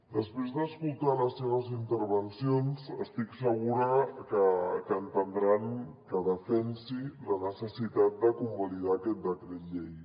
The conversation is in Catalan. després d’escoltar les seves intervencions estic segura que entendran que defensi la necessitat de convalidar aquest decret llei